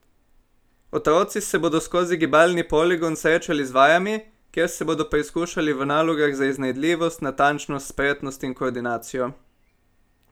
Otroci se bodo skozi gibalni poligon srečali z vajami, kjer se bodo preizkušali v nalogah za iznajdljivost, natančnost, spretnost in koordinacijo.